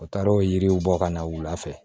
U taara o yiriw bɔ ka na wula fɛ